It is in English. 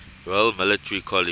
royal military college